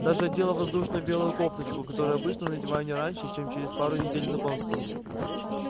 даже одела воздушную белую кофточку которую обычно надеваю не раньше чем через пару недель знакомства